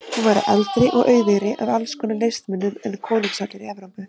Hún væri eldri og auðugri af alls konar listmunum en konungshallir Evrópu.